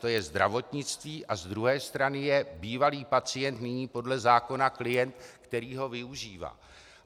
To je zdravotnictví a z druhé strany je bývalý pacient, nyní podle zákona klient, který ho využívá.